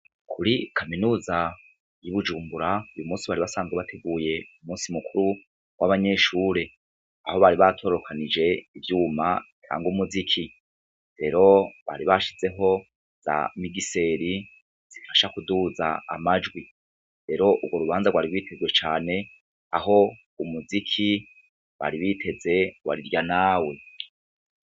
Kuri kaminuza y'ibujumbura, uyu munsi bari basanzwe bateguye umunsi mukuru w'abanyeshure, aho bari batorokanije ivyuma ntangwa umuziki rero bari bashizeho za migiseri zifasha kuduza amajwi, rero urwo rubanza rwari bitezwe cane aho umuziki bari biteze warirya nawe.